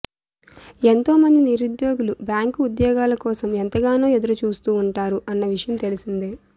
ఎంతో మంది నిరుద్యోగులు బ్యాంకు ఉద్యోగాల కోసం ఎంతగానో ఎదురు చూస్తూ ఉంటారు అన్న విషయం తెలిసిందే